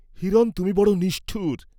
হিরণ তুমি বড় নিষ্ঠুর!